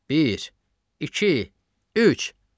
Bir, iki, üç!